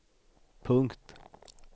punkt